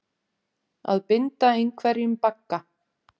Að binda einhverjum bagga